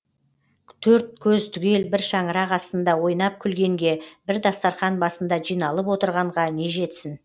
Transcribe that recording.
төрт көз түгел бір шаңырақ астында ойнап күлгенге бір дастарқан басында жиналып отырғанға не жетсін